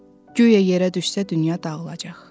Güya yerə düşsə dünya dağılacaq.